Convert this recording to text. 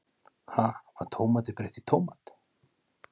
Ha, var tómati breytt í tómat?